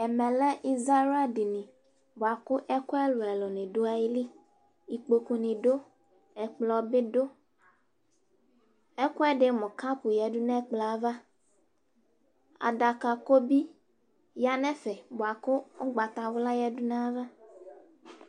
Ɛvɛlɛ izawla dini bʋakʋ ɛkʋ ɛlʋ ɛlʋ ni dʋ ayili ikpokʋ ni dʋ ayili ɛkplɔ bi dʋ ɛkʋɛdi mʋ kap yadʋ nʋ ɛkplɔ yɛ ava adaka ko bi ya nʋ ɛfɛ bʋakʋ ʋgbatawla yadʋ nʋ ayava